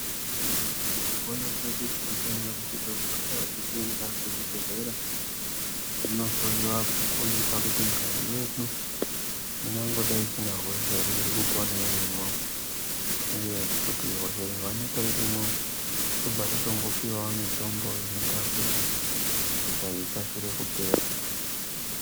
Mukupona kwedu tinofanire kusise kugarawo teiende kuzvibhedhlera tindohloyiwa kuonekwa kuti ngazi yedu ingagodai isina hosha ere iri kupona irimwo uye kuti hosha ikaonekwa irimwo tobva tatongopiwe mitombo inoite kuti hosha iyi ikasire kupera.